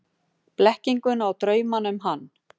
Blekkinguna og draumana um hann.